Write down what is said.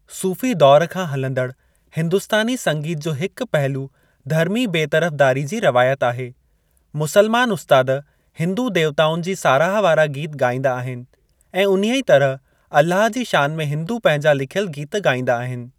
सूफ़ी दौर खां हलंदड़ु हिंदुस्तानी संगीत जो हिकु पहलू धर्मी बेतरफ़दारी जी रवायत आहेः मुस्लमान उस्ताद हिंदू देवताउनि जी साराह वारा गीत ॻाईंदा आहिनि ऐं उन्हीअ तरह अल्लाहु जी शान में हिंदू पंहिंजा लिखियल गीत ॻाईंदा आहिनि।